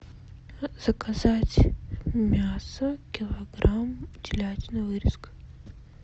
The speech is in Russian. заказать мясо килограмм телятина вырезка